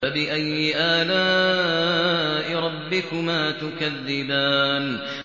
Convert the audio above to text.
فَبِأَيِّ آلَاءِ رَبِّكُمَا تُكَذِّبَانِ